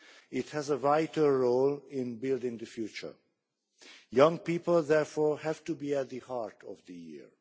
It has a vital role in building the future. Young people therefore have to be at the heart of the year.